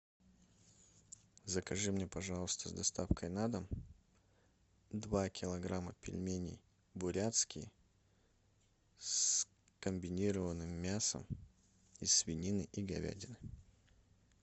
закажи мне пожалуйста с доставкой на дом два килограмма пельменей бурятские с комбинированным мясом из свинины и говядины